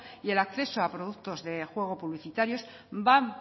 y el acceso a productos de juego publicitarios va